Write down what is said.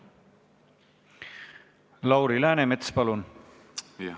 Lauri Läänemets, palun!